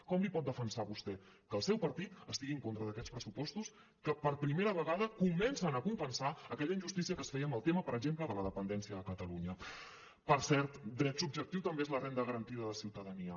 com pot defensar vostè que el seu partit estigui en contra d’aquests pressupostos que per primera vegada comencen a compensar aquella injustícia que es feia amb el tema per exemple de la dependència de catalunya per cert dret subjectiu també és la renda garantida de ciutadania